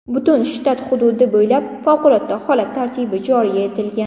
Butun shtat hududi bo‘ylab favqulodda holat tartibi joriy etilgan.